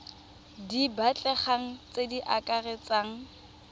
di batlegang tse di akaretsang